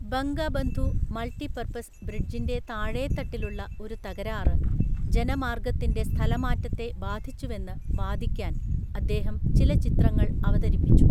Bangabandhu multipurpose ബ്രിഡ്ജിന്‍റെ താഴേത്തട്ടിലുള്ള ഒരു തകരാറ് ജനമാർഗത്തിന്‍റെ സ്ഥലമാറ്റത്തെ ബാധിച്ചുവെന്ന് വാദിക്കാൻ അദ്ദേഹം ചില ചിത്രങ്ങൾ അവതരിപ്പിച്ചു.